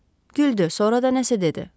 Güldü, sonra da nəsə dedi.